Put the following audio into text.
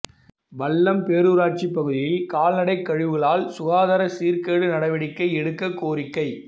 வல்லம் பேரூராட்சி பகுதியில் கால்நடை கழிவுகளால் சுகாதார சீர்கேடு நடவடிக்கை எடுக்க கோரிக்கை